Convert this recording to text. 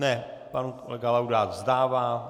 Ne, pan kolega Laudát vzdává.